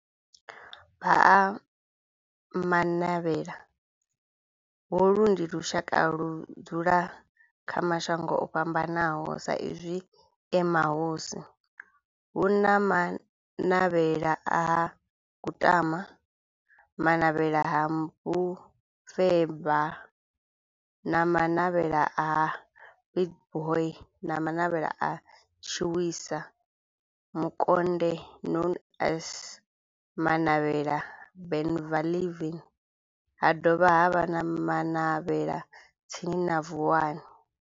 Vha Ha-Manavhela, holu ndi lushaka ludzula kha mashango ofhambanaho sa izwi e mahosi, hu na Manavhela ha Kutama, Manavhela ha Mufeba, Manavhela ha Pietboi na Manavhela ha Tshiwisa Mukonde known as Manavhela Benlavin, ha dovha havha na Manavhela tsini na Vuwani.